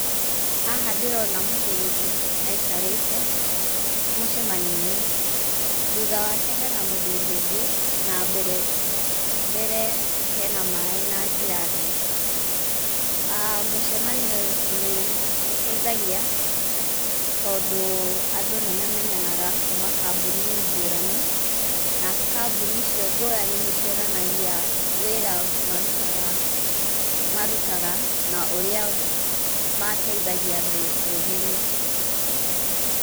Haha ndĩrona mũthuri aikarĩte mũcemani-inĩ thutha wake hena mũthuri ũngĩ na mbere hena maaĩ na ngirathi. Mũcemanio nĩ ũteithagia tondũ andũ nĩ mamenyanaga kũma kambuni ngũrani. Na kambuni icio ngũrani nĩ cionanagia wĩra marutaga, marutaga na ũrĩa mateithagia andũ bũruri-inĩ.